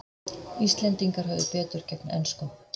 Íslendingar höfðu betur gegn enskum